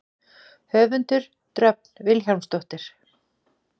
Höfundur: Dröfn Vilhjálmsdóttir.